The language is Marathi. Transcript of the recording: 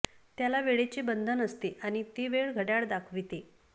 त्याला वेळेचे बंधन असते आणि ती वेळ घड्याळ दाखविते